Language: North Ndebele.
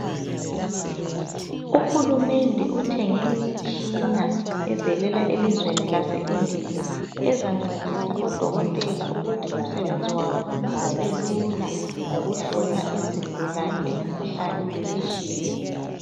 Uhulumende uthenge imitshina evelela elizweni lase India .Ezancedisa odokotela ukuthi umsebenzi wabo ubelula ngokuhlola izigulane imikhuhlane etshiyeneyo .